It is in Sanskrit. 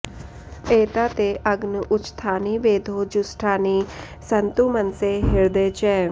ए॒ता ते॑ अग्न उ॒चथा॑नि वेधो॒ जुष्टा॑नि सन्तु॒ मन॑से हृ॒दे च॑